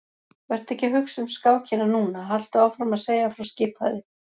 Vertu ekki að hugsa um skákina núna, haltu áfram að segja frá skipaði